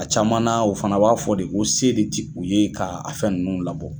A caman na, o fana b'a fɔ de ko a se de ti u ye ka a fɛn ninnu labɔ.